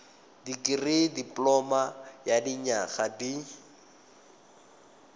dikirii dipoloma ya dinyaga di